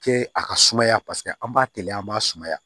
Kɛ a ka sumaya paseke an b'a teliya an b'a sumaya